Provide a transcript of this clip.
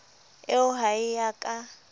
eo ha e a ka